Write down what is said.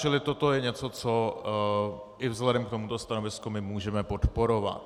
Čili toto je něco, co i vzhledem k tomuto stanovisku my můžeme podporovat.